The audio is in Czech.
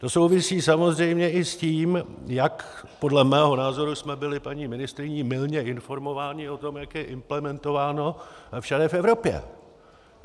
To souvisí samozřejmě i s tím, jak podle mého názoru jsme byli paní ministryní mylně informováni o tom, jak je implementováno všude v Evropě.